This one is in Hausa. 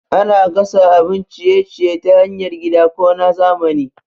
Ana gasa abun ciye-ciye ta hanyar gida ko na zamani.